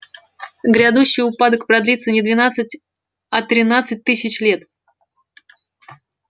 грядущий упадок продлится не двенадцать а тринадцать тысяч лет